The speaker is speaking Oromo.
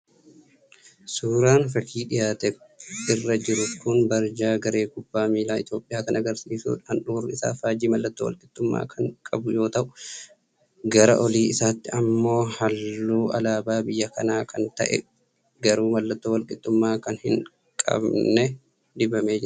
Suuraan fakii dhiyaate irra jiru kun barjaa garee kubbaa miilaa Itoophiyaa kan agarsiisudha. Handhuurri isaa faajjii mallattoo walqixxummaa kan qabu yoo ta'u, gara olii isaatti ammoo ammoo halluu alaabaa biyya kanaa kan ta'e garuu mallattoo wal-qixxummaa kan hin qabne dibamee jira.